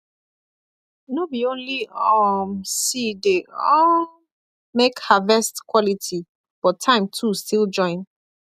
no be only um see dey um make harvest quality but time too still join